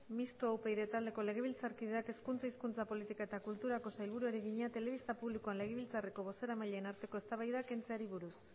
mistoa upyd taldeko legebiltzarkideak hezkuntza hizkuntza politika eta kulturako sailburuari egina telebista publikoan legebiltzarreko bozeramaileen arteko eztabaidak kentzeari buruz